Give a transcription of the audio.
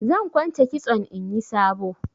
Zan kwance kitson inyi sabo.